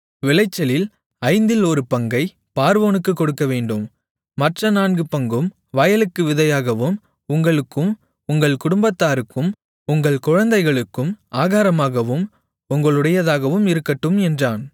விளைச்சலில் ஐந்தில் ஒரு பங்கைப் பார்வோனுக்குக் கொடுக்கவேண்டும் மற்ற நான்கு பங்கும் வயலுக்கு விதையாகவும் உங்களுக்கும் உங்கள் குடும்பத்தாருக்கும் உங்கள் குழந்தைகளுக்கும் ஆகாரமாகவும் உங்களுடையதாகவும் இருக்கட்டும் என்றான்